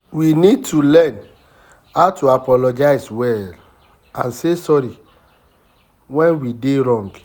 We need to learn how to apologize well and say sorry when we dey wrong